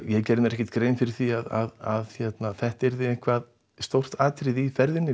ég gerði mér ekkert grein fyrir því að þetta yrði stórt atriði í ferðinni